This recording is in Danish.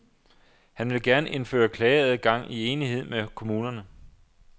Han vil gerne indføre klageadgang i enighed med kommunerne.